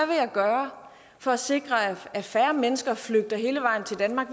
vil jeg gøre for at sikre at færre mennesker flygter hele vejen til danmark